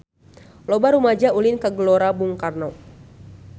Loba rumaja ulin ka Gelora Bung Karno